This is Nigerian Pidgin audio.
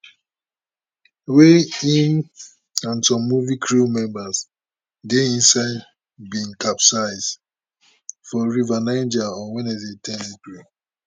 wey im and some movie crew members dey inside bin capsize for river niger on wednesday ten april